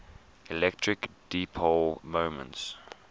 electric dipole moment